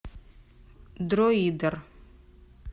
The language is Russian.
дроидер